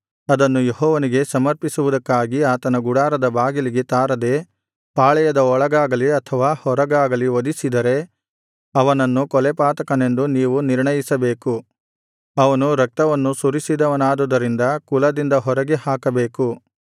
ಅದನ್ನು ಯೆಹೋವನಿಗೆ ಸಮರ್ಪಿಸುವುದಕ್ಕಾಗಿ ಆತನ ಗುಡಾರದ ಬಾಗಿಲಿಗೆ ತಾರದೆ ಪಾಳೆಯದ ಒಳಗಾಗಲಿ ಅಥವಾ ಹೊರಗಾಗಲಿ ವಧಿಸಿದರೆ ಅವನನ್ನು ಕೊಲೆಪಾತಕನೆಂದು ನೀವು ನಿರ್ಣಯಿಸಬೇಕು ಅವನು ರಕ್ತವನ್ನು ಸುರಿಸಿದವನಾದುದರಿಂದ ಕುಲದಿಂದ ಹೊರಗೆ ಹಾಕಬೇಕು